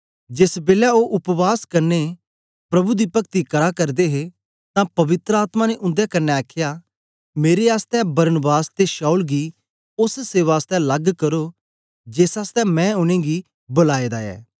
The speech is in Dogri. जेस बेलै ओ उपवास कन्ने प्रभु दी पगती करा करदे हे तां पवित्र आत्मा ने उन्दे क्न्ने आखया मेरे आसतै बरनबास ते शाऊल गी ओस सेवा आसतै लग्ग करो जेस आसतै मैं उनेंगी बलाए दा ऐ